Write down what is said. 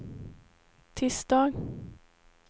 tisdag